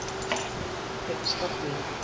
Hinsta þín.